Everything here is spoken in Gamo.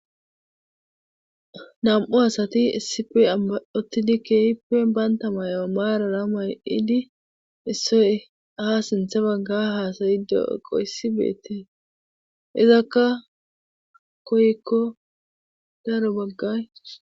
Nam'u asati issi bola uttidi keehippe bantta mayo may'idi issoy ha simmi sinththa bagga haasaydi de'iyassi beetees. izakka koyikko daro baggay